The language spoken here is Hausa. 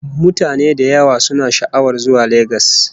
Mutane da yawa suna sha'awar zuwa Legas